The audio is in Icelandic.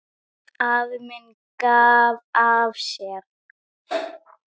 Afi minn gaf af sér.